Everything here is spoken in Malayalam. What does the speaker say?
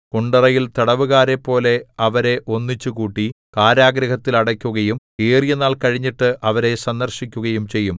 കുണ്ടറയിൽ തടവുകാരെപ്പോലെ അവരെ ഒന്നിച്ച് കൂട്ടി കാരാഗൃഹത്തിൽ അടയ്ക്കുകയും ഏറിയനാൾ കഴിഞ്ഞിട്ട് അവരെ സന്ദർശിക്കുകയും ചെയ്യും